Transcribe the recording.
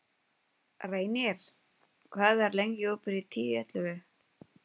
Seimur, hvað er í dagatalinu mínu í dag?